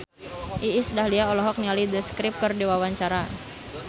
Iis Dahlia olohok ningali The Script keur diwawancara